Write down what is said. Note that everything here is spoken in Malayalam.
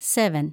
സെവൻ